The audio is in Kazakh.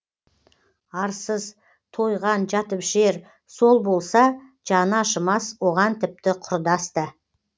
арсыз тойған жатып ішер сол болса жаны ашымас оған тіпті құрдас та